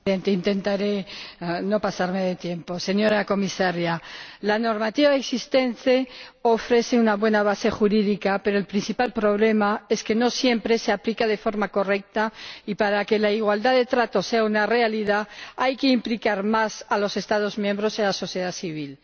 Señor Presidente, intentaré no pasarme del tiempo. Señora Comisaria, la normativa existente ofrece una buena base jurídica, pero el principal problema es que no siempre se aplica de forma correcta y, para que la igualdad de trato sea una realidad, hay que implicar más a los Estados miembros y a la sociedad civil.